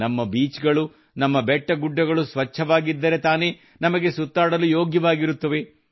ನಮ್ಮ ಬೀಚ್ ಗಳು ನಮ್ಮ ಬೆಟ್ಟಗುಡ್ಡಗಳು ಸ್ವಚ್ಛವಾಗಿದ್ದರೆ ತಾನೇ ನಮಗೆ ಸುತ್ತಾಡಲು ಯೋಗ್ಯವಾಗಿರುತ್ತವೆ